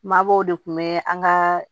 Mabɔw de kun bɛ an ka